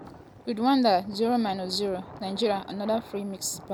rwanda 0-0 nigeria anoda free miss by onyemaechi.